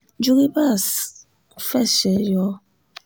juribas fẹṣẹ̀ yọ